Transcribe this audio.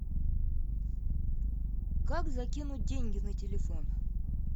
как закинуть деньги на телефон